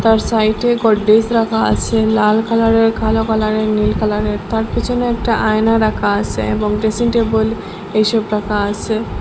আর সাইডে গোদরেজ রাখা আসে লাল কালারের কালো কালারের নীল কালারের তার পিছনে একটা আয়না রাখা আসে এবং ড্রেসিং টেবিল এসব রাখা আসে।